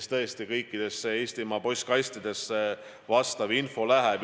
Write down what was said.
Ja tõesti kõikidesse Eestimaa postkastidesse see info läheb.